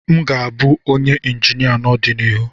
M ga-abụ onye injinia n'ọdịnihu.